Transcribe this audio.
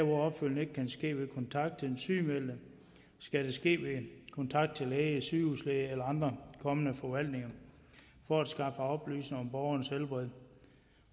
opfølgning ikke kan ske ved kontakt til den sygemeldte skal det ske ved kontakt til læge sygehuslæge eller andre kommende forvaltninger for at skaffe oplysninger om borgerens helbred